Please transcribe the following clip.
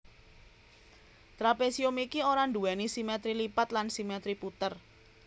Trapésium iki ora nduwèni simètri lipat lan simètri puter